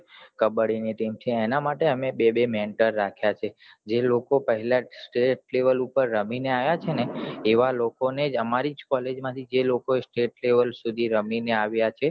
કબ્બડી ની team છે આ તો અમે બે બે mentor રાખ્યા છે જે લોકો પેહલા state level પર રમીને આવિયા છે એવા લોકો ને આમારી college માંથી જે લોકો state level સુઘી રમીને આવિયા હતા